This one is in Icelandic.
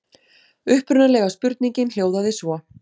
Upprunalega spurningin hljóðaði svo: